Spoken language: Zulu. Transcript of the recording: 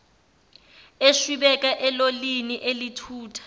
eshwibeka elolini elithutha